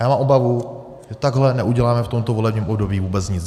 A já mám obavu, že takhle neuděláme v tomto volebním období vůbec nic.